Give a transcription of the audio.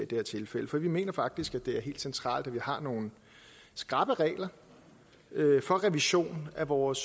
det her tilfælde for vi mener faktisk at det er helt centralt at vi har nogle skrappe regler for revision af vores